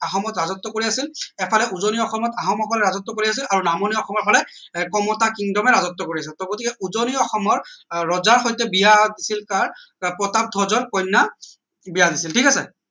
অসমত ৰাজত্ব কৰি আছিল এফালে উজনি অসমত আহোম সকলে ৰাজত্ব কৰি আছিল আৰু নামনি অসমৰ ফালে কমতা kingdom ৰাজত্ব কৰি কৰিছে টৌ গতিকে উজনি অসমৰ আহ ৰজা সৈতে বিয়া হৈছিল কাৰ প্ৰতাপধ্বজৰ কন্যা বিয়া দিছিল ঠিক আছে